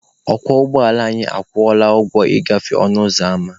Ọkwọ ụgbọala anyị akwụọla ụgwọ ịgafe ọnụ ụzọ ama.